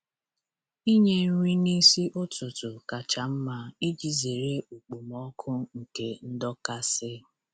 Inye nri n'isi ụtụtụ kacha mma iji zere okpomọkụ nke ndọkasị